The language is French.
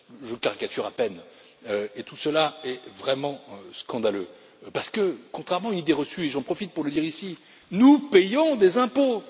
Je caricature à peine, et tout cela est vraiment scandaleux parce que, contrairement à une idée reçue et j'en profite pour le dire ici nous payons des impôts!